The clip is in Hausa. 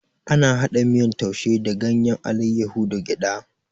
Ana hada miyan taushi da ganyen alaiyahu da gyada